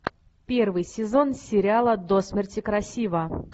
первый сезон сериала до смерти красива